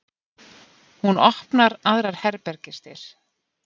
Hún opnar aðrar herbergisdyr.